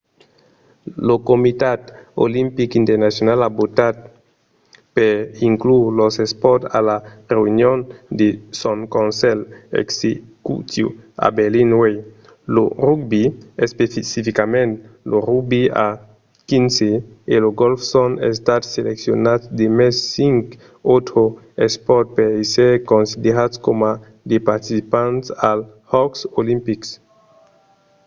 lo comitat olimpic internacional a votat per inclure los espòrts a la reünion de son conselh executiu a berlin uèi. lo rugbi especificament lo rugbi a xv e lo gòlf son estats seleccionats demest cinc autres espòrts per èsser considerats coma de participants als jòcs olimpics